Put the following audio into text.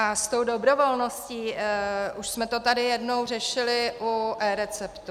A s tou dobrovolností, už jsme to tady jednou řešili u eReceptu.